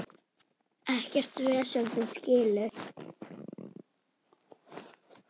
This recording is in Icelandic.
Ekkert vesen, þú skilur.